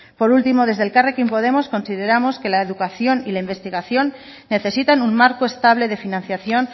por último desde elkarrekin podemos consideramos que la educación y la investigación necesitan un marco estable de financiación